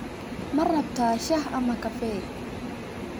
Ma rabtaa shaah ama kafee?